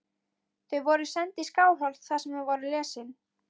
Þau voru send í Skálholt þar sem þau voru lesin.